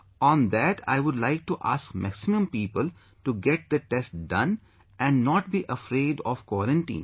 On that I would like to ask maximum people to get the test done and not be afraid of quarantine